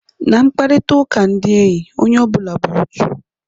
Na mkparịta ụka ndị enyi, onye ọbụna bụ otu.